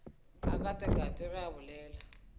a katakate ge a bolela